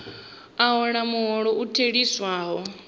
a hola muholo u theliswaho